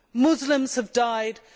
Muslims have died too.